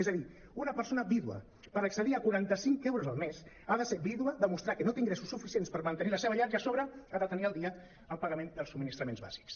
és a dir una persona vídua per accedir a qua·ranta·cinc euros al mes ha de ser vídua demostrar que no té ingressos suficients per mantenir la seva llar i a sobre ha de tenir al dia el pagament dels subministraments bàsics